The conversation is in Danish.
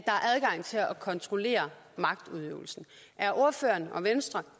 kontrollere magtudøvelsen er ordføreren og venstre